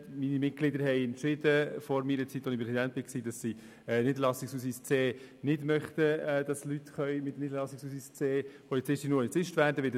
Die Mitglieder des Polizeiverbands haben vor meiner Zeit als Präsident entschieden, dass sie nicht möchten, dass Leute mit Niederlassungsausweis C Polizist oder Polizistin werden können.